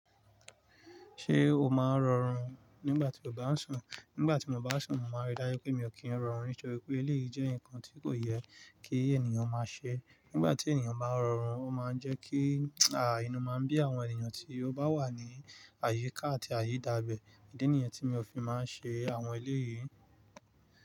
Ṣé o máa ń rọrùn nígbà tí o bá ń sùn? Nígbà tí mo bá ń sùn, màá rí dájú pé mi ò kí ń rọrùn nítorí pé eléyìí jẹ́ nǹkan tí kò yẹ kí ènìyàn máa ṣe. Nígbà tí ènìyàn bá ń rọrùn, ó máa ń jẹ́ kí, àí inú máa ń bí àwọn ènìyàn tí ó bá wà ní àyíká àti àyídábẹ. Idí níyen tí mi ò fi máa ń ṣe àwọn eléyìí.